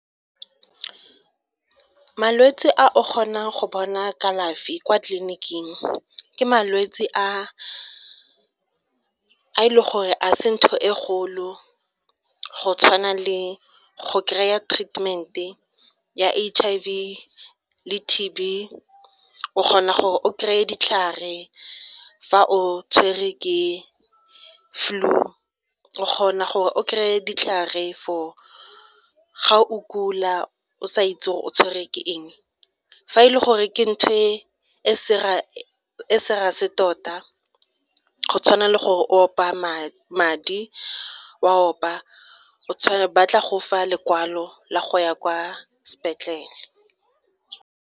Malwetse a o kgonang go bona kalafi kwa tleliniking ke malwetse a a e leng gore a se ntho e kgolo go tshwana le go kry-a treatment-e ya H_I_V le T_B o kgona gore o kry-e ditlhare fa o tshwerwe ke flu, o kgona gore o kry-e ditlhare for ga o kula o sa itse gore o tshwerwe ke eng. Fa e le gore ke ntho e e serious tota go tshwana le gore o opa madi, o a opa ba tla go fa lekwalo la go ya kwa sepetlele.